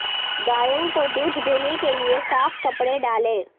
گایوں کو دودھ دینے کے لئے صاف کپڑے ڈالیں